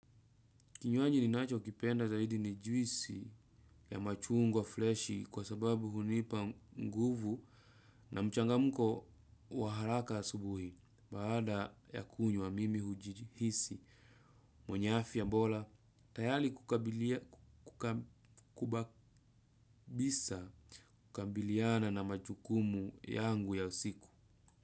Kinywaji ninacho kipenda zaidi ni juisi ya machungwa fleshi kwa sababu hunipa nguvu na mchangamko wa haraka asubuhi. Baada ya kunywa, mimi hujihisi mwenye afya bora, tayari kukabisa kukabiliana na majukumu yangu ya siku.